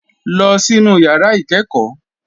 Lọ sínú yàrá ìkẹ́ẹ̀kọ́.